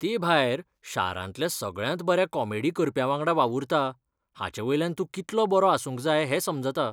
तेभायर, शारांतल्या सगळ्यांत बऱ्या कॉमेडी करप्यावांगडा वावुरता हाचेवयल्यान तूं कितलो बरो आसूंक जाय हें समजता